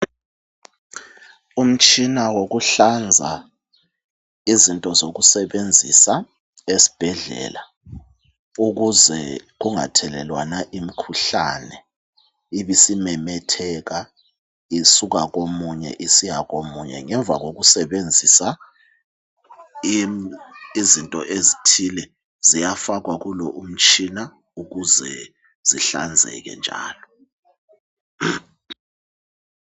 Umtshina woku hlanza izinto zokusebenzisa esibhedlea ukuze kungathelelwana imikhuhlane .Ibisimemetheka isuka komunye isiya komunye. Ngemuva kokusebenzisa izinto ezithile ziyafakwa kulo umtshina ukuze zihlanzeke njalo .